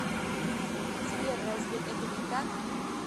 сбер разве это не так